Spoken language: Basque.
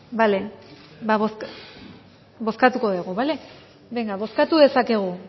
bale ba bozkatuko dugu bale bozkatu dezakegu